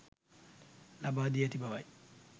ලබා දී ඇති බවයි.